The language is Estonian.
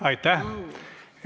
Aitäh!